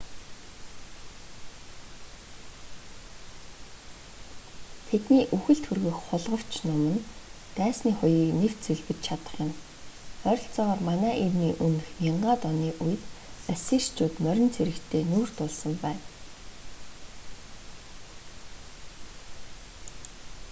тэдний үхэлд хүргэх хулгавч нум нь дайсны хуягыг нэвт сүлбэж чадах юм ойролцоогоор мэө 1000-д оны үед ассирчууд морин цэрэгтэй нүүр тулсан байна